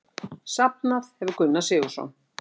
Safnað hefur Gunnar Sigurðsson.